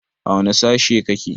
Wane sashe kake?